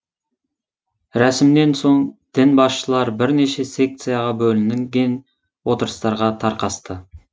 рәсімнен соң дін басшылары бірнеше секцияға бөлінген отырыстарға тарқасты